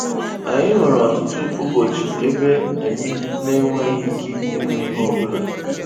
Anyị nwere ọtụtụ ụbọchị ebe anyị na-enweghị ike ime ihe ọ bụla